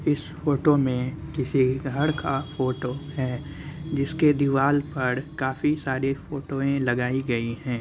इस फोटो में किसी घर का फोटो हैं जिसके दीवाल पर काफी सारी फोटोए लगाई गयी हैं।